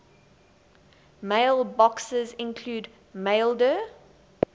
mailboxes include maildir